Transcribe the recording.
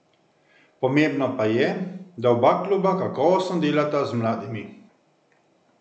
Pomembno pa je, da oba kluba kakovostno delata z mladimi.